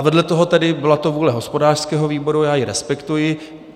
A vedle toho tedy - byla to vůle hospodářského výboru, já ji respektuji.